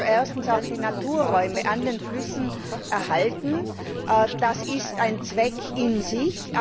Das muss also erstens die Naturräume an den Flüssen erhalten, das ist ein Zweck an sich.